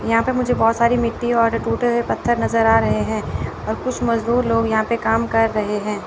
यहां पर मुझे बहोत सारी मिट्टी और टूटे हुए पत्थर नजर आ रहे हैं और कुछ मजदूर लोग यहां पर काम कर रहे हैं।